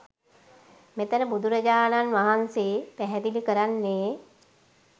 මෙතන බුදුරජාණන් වහන්සේ පැහැදිලි කරන්නෙ